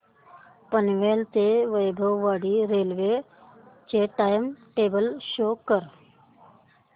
पनवेल ते वैभववाडी रेल्वे चे time table show करा